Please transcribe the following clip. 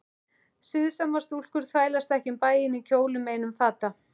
Siðsamar stúlkur þvælast ekki um bæinn í kjólnum einum fata